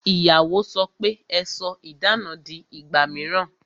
Ìyàwó sọ pe "Ẹ sọ idana di ìgbà mìíràn